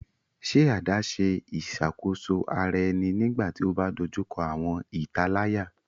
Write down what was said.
Ṣe adaṣe iṣakoso ara ẹni nigbati o ba dojuko awọn italaya